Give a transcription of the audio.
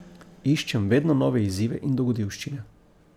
Iščem vedno nove izzive in dogodivščine.